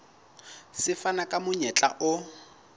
se fana ka monyetla o